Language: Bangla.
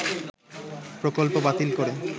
প্রকল্প বাতিল করে